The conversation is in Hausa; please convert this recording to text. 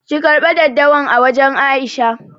ki karbe daddawan a wajan Aisha.